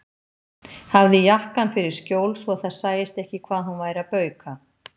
Hafði jakkann fyrir skjól svo að það sæist ekki hvað hún væri að bauka.